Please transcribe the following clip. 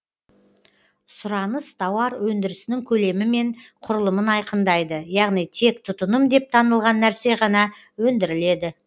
сұраныс тауар өндірісінің көлемі мен құрылымын айқындайды яғни тек тұтыным деп танылған нәрсе ғана өндіріледі